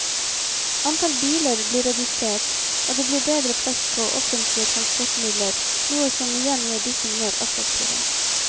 Antall biler blir redusert, og det blir bedre plass på offentlige transportmidler, noe som igjen gjør disse mer attraktive.